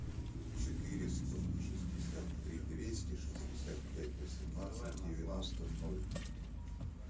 четыреста шестьдесят три двести шестьдесят пять восемнадцать девяносто ноль